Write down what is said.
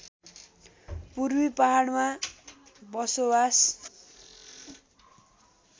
पूर्वी पहाडमा बसोवास